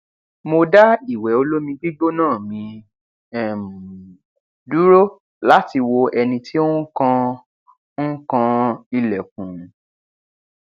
mo dá ìwẹ olómi gbígbóná mi um dúró láti wo ẹni tí ó ń kan ń kan ilẹkùn